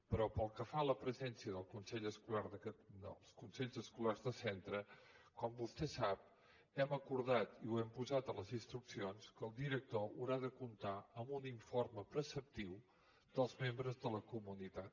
però pel que fa a la presència dels consells escolars de centre com vostè sap hem acordat i ho hem posat a les instruccions que el director haurà de comptar amb un informe preceptiu dels membres de la comunitat